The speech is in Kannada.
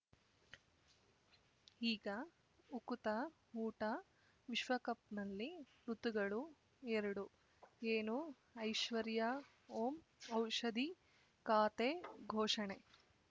ಈಗ ಉಕುತ ಊಟ ವಿಶ್ವಕಪ್‌ನಲ್ಲಿ ಋತುಗಳು ಎರಡು ಏನು ಐಶ್ವರ್ಯಾ ಓಂ ಔಷಧಿ ಖಾತೆ ಘೋಷಣೆ